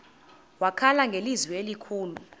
wakhala ngelizwi elikhulu